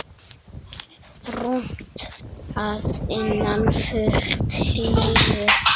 Rúmt að innan, fullt hlýju.